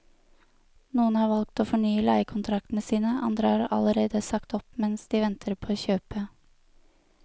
Noen har valgt å fornye leiekontraktene sine, andre har allerede sagt opp mens de venter på å kjøpe.